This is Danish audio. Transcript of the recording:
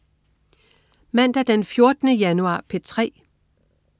Mandag den 14. januar - P3: